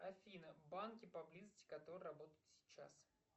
афина банки поблизости которые работают сейчас